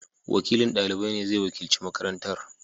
Wakilin dalibai ne zai wakilci makarantar.